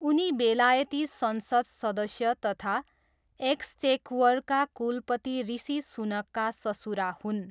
उनी बेलायती संसद सदस्य तथा एक्सचेक्वरका कुलपति ऋषि सुनाकका ससुरा हुन्।